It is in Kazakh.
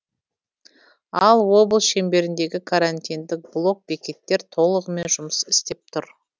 ал облыс шеңберіндегі карантиндік блок бекеттер толығымен жұмыс істеп тұр